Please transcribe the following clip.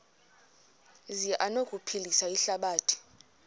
zi anokuphilisa ihlabathi